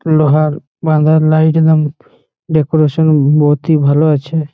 লোহার বাধান লাইট একদম ডেকোরেশন বহতই ভালো আছে।